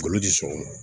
Bolo di sɔgɔma